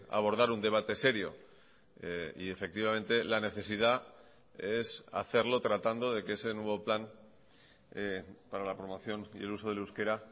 abordar un debate serio y efectivamente la necesidad es hacerlo tratando de que ese nuevo plan para la promoción y el uso del euskera